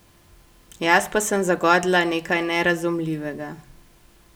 Jaz pa sem zagodla nekaj nerazumljivega.